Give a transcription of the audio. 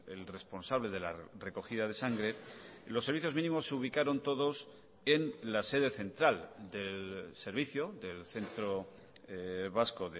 el responsable de la recogida de sangre los servicios mínimos se ubicaron todos en la sede central del servicio del centro vasco